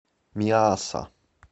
миасса